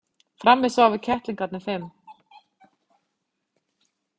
Frammi sváfu kettlingarnir fimm.